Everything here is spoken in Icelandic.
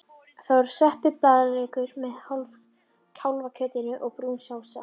Það voru sveppir og blaðlaukur með kálfakjötinu og brún sósa.